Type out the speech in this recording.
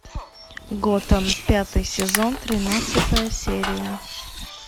готэм пятый сезон тринадцатая серия